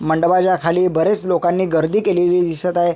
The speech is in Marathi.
मंडपाच्या खाली बरेच लोकांनी गर्दी केलेली दिसत आहे.